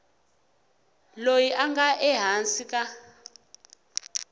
loyi a nga ehansi ka